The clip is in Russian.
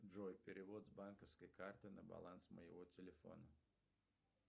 джой перевод с банковской карты на баланс моего телефона